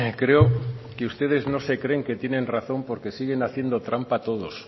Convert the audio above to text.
creo que ustedes no se creen que tienen razón porque siguen haciendo trampa todos